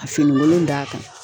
Ka finikolon d'a kan.